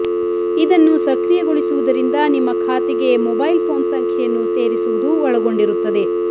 ಇದನ್ನು ಸಕ್ರಿಯಗೊಳಿಸುವುದರಿಂದ ನಿಮ್ಮ ಖಾತೆಗೆ ಮೊಬೈಲ್ ಫೋನ್ ಸಂಖ್ಯೆಯನ್ನು ಸೇರಿಸುವುದು ಒಳಗೊಂಡಿರುತ್ತದೆ